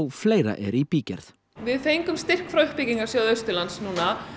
fleira er í bígerð við fengum styrk frá uppbyggingarsjóði Austurlands núna